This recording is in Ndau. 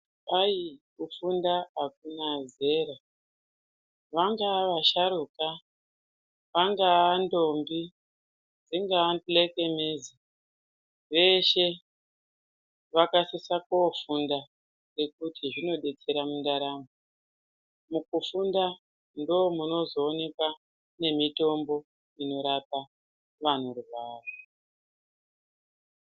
Kwai kufunda akuna zera kungava vasharuka ungava ndombi dzingava mhek veshee vanosisa kofunda ngokuti zvinobetsera ndaramo mukufunda ndomunozooneka mitombo inorapa vanorwara.